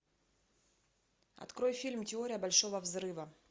открой фильм теория большого взрыва